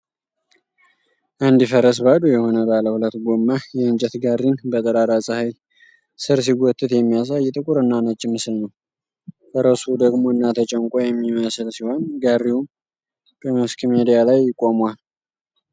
አንድ ፈረስ ባዶ የሆነ ባለ ሁለት ጎማ የእንጨት ጋሪን በጠራራ ፀሐይ ስር ሲጎትት የሚያሳይ ጥቁርና ነጭ ምስል ነው። ፈረሱ ደክሞና ተጨንቆ የሚመስል ሲሆን፣ ጋሪውም በመስክ ሜዳ ላይ ቆሟል።